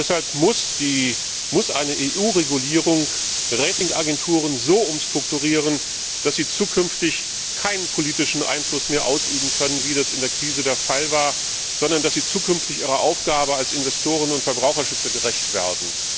Deshalb muss eine EU Regulierung Ratingagenturen so umstrukturieren, dass sie zukünftig keinen politischen Einfluss mehr ausüben können, wie das in der Krise der Fall war, sondern dass sie zukünftig ihrer Aufgabe als Investoren und Verbraucherschützer gerecht werden.